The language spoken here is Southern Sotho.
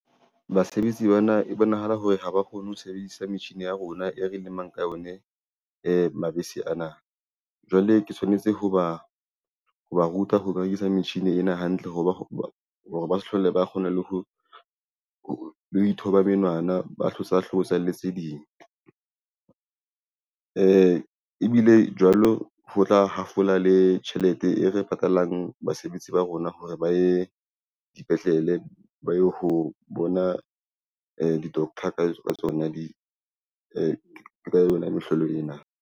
Basebetsi bana e bonahala hore ha ba kgone ho sebedisa metjhini ya rona e re lemang ka yone mabese ana jwale ke tshwanetse ho ba ruta ho berekisa metjhini ena hantle hore ba se hlole ba kgona le ho ithoba menwana ba , hlotsa le tseding ebile jwalo ho tla hafola le tjhelete e re patalang basebetsi ba rona hore ba ye dipetlele ba ye ho bona di-doctor ka yona mehlolo ena.